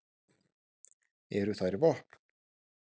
Eru þær vopn?